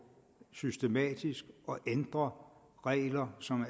systematisk at ændre regler som